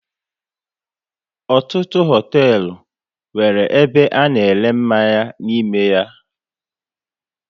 Ọtụtụ hoteelu nwéré ebe a na ere mmanya n'ime ya